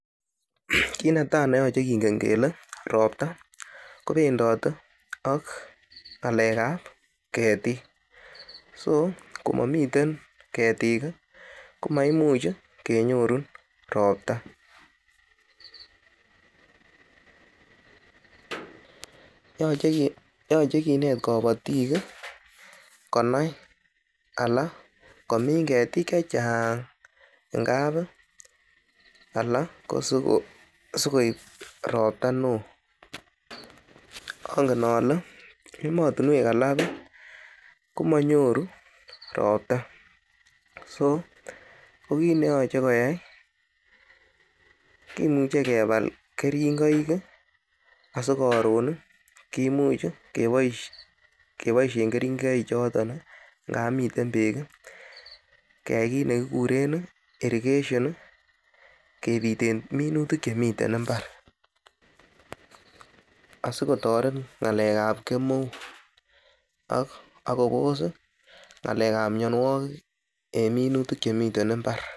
Kit netai ne yoche kingen kele ropta kobendote ak ngalekab ketik so ko momiten ketik ko maimuch kenyorun Ropta yoche kinet kabatik konai anan komin ketik Che Chang ngap anan asikoib Ropta neo angen ale emotinwek alak komonyoru ropta so kit ne yoche koyai kimuche kebal keringoik asi koron kimuch keboisien keringoichoton ngap miten bek keyai kit nekikuren irrigation kebiten minutik Che miten mbar asi kosulda ak kotoret ngalekab kemeut ak kobos ngalek ab mianwogik en minitutik Che miten mbar